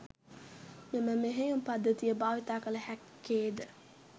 මෙම මෙහෙයුම් පද්ධතිය භාවිතා කල හැක්කේ ද